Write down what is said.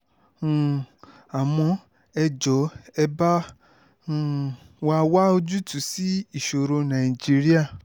um àmọ́ ẹ jọ̀ọ́ ẹ bá um wa wá ojútùú sí ìṣòro nàìjíríà